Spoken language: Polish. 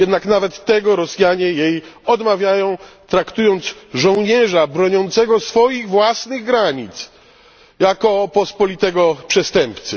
Jednak nawet tego Rosjanie jej odmawiają, traktując żołnierza broniącego swoich własnych granic jak pospolitego przestępcę.